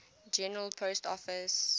general post office